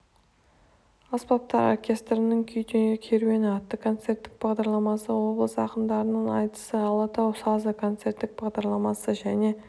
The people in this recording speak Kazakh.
аспаптар оркестрінің күй керуені атты концерттік бағдарламасы облыс ақындарының айтысы алатау сазы концерттік бағдарламасы және